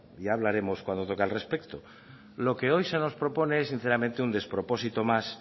ya hablaremos cuando toque al respecto lo que hoy se nos propone es sinceramente un despropósito más